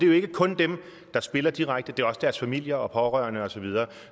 jo ikke kun dem der spiller direkte det er også deres familier og pårørende og så videre